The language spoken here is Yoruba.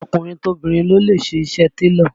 Tọkùnrin tobìnrin ló ń ṣe iṣẹ́ télọ̀